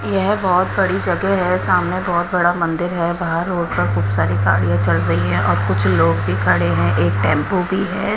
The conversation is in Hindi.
यह बहुत बड़ी जगह है सामने बहुत बड़ा मंदिर है बाहर रोड पर खूब सारी गाड़ियां चल रही है और कुछ लोग भी खड़े हैं एक टेंपो भी है।